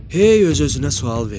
Hey öz-özünə sual verirdi: